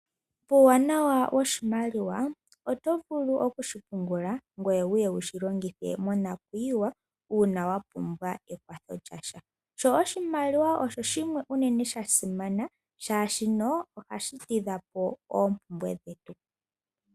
Uuwanawa woshimaliwa otovulu oku shipungula ngoye wuye wushi longithe monakuyiwa uuna wapumbwa ekwatho lyasho. Oshimaliwa oshasimana oshoka ohashi tidhapo oompumbwe dhetu.